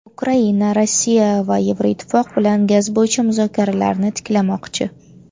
Ukraina Rossiya va Yevroittifoq bilan gaz bo‘yicha muzokaralarni tiklamoqchi.